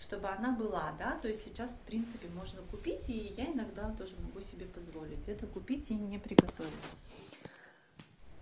чтобы она была да то есть сейчас в принципе можно купить и я иногда тоже могу себе позволить это купить и не приготовить